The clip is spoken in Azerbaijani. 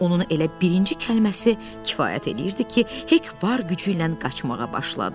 Onun elə birinci kəlməsi kifayət eləyirdi ki, Hek var gücü ilə qaçmağa başladı.